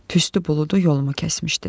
Tüstü buludu yolumu kəsmişdi.